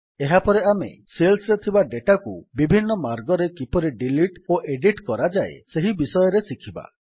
ଏହାପରେ ଆମେ ସେଲ୍ସରେ ଥିବା ଡେଟାକୁ ବିଭିନ୍ନ ମାର୍ଗରେ କିପରି ଡିଲିଟ୍ ଓ ଏଡିଟ୍ କରାଯାଏ ସେହି ବିଷୟରେ ଶିଖିବା